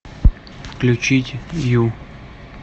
включить ю